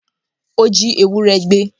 Ó jí ewúrẹ́ gbé